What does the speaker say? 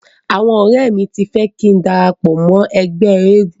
Àwọn ọ̀rẹ́ mi ti fẹ́ kín darapọ̀ mọ́ ẹgbẹ́ eégun.